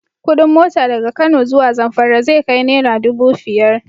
Kuɗin mota daga Kano zuwa Zamfara zai kai naira dubu fiyar.